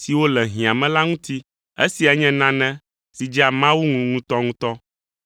siwo le hiã me la ŋuti. Esia nye nane si dzea Mawu ŋu ŋutɔŋutɔ.